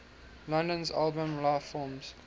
london's album lifeforms